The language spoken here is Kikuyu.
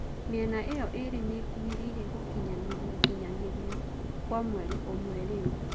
Miena iyo iri niikuhiriire gũkinyaniria nginyanirio kwa mweri ũmwe riu.